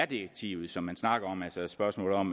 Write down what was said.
direktivet som man snakker om altså spørgsmålet om